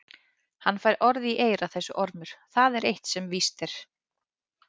Hann fær orð í eyra þessi ormur, það er eitt sem víst er.